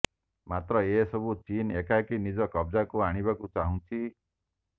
ମାତ୍ର ଏସବୁକୁ ଚୀନ ଏକାକି ନିଜ କବଜାକୁ ଆଣିବାକୁ ଚାହୁଁଛି